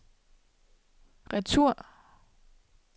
retur